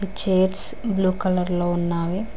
ఈ chairs blue colour లో ఉన్నావి.